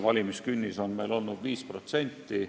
Valimiskünnis on meil olnud 5%.